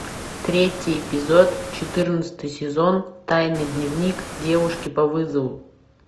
третий эпизод четырнадцатый сезон тайный дневник девушки по вызову